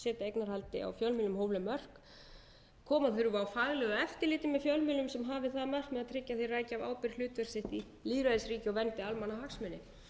eignarhaldi á fjölmiðlum hófleg mörk koma þurfi á faglegu eftirliti með fjölmiðlum sem hafi það að markmiði að tryggja að þeir ræki af ábyrgð hlutverk sitt í lýðræðisríki og verndi almannahagsmuni